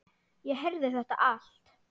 Ég heyrði þetta allt.